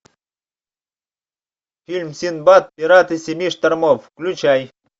фильм синдбад пираты семи штормов включай